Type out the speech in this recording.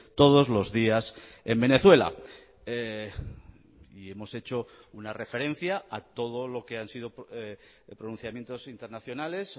todos los días en venezuela y hemos hecho una referencia a todo lo que han sido pronunciamientos internacionales